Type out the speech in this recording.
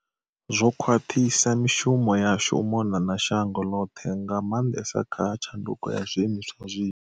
Zwo khwaṱhisa mishumo yashu u mona na shango ḽoṱhe, nga maanḓesa kha tshanduko ya zwi imiswa zwinzhi.